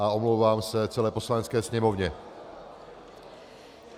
A omlouvám se celé Poslanecké sněmovně.